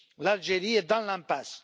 L'Algérie est dans l'impasse.